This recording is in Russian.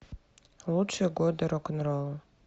лучшие годы рок н ролла